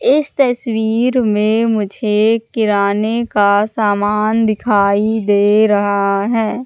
इस तस्वीर में मुझे किराने का सामान दिखाई दे रहा है।